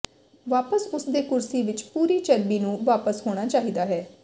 ਵਾਪਸ ਉਸ ਦੇ ਕੁਰਸੀ ਵਿੱਚ ਪੂਰੀ ਚਰਬੀ ਨੂੰ ਵਾਪਸ ਹੋਣਾ ਚਾਹੀਦਾ ਹੈ